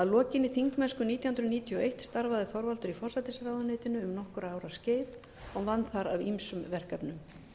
lokinni þingmennsku nítján hundruð níutíu og eitt starfaði þorvaldur í forsætisráðuneytinu um nokkurra ára skeið og vann þar að ýmsum verkefnum